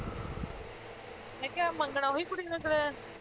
ਮੈਂ ਕਿਹਾ ਮੰਗਣਾ ਉਹੀ ਕੁੜੀ ਨਾਲ ਕਰਾਇਆ